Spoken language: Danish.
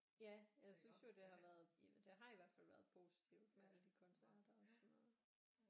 Ja jeg synes jo det har været det har i hvert fald været positivt med alle de koncerter og sådan noget